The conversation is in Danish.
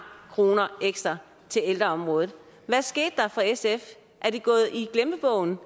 kroner ekstra til ældreområdet hvad skete der for sf er det gået i glemmebogen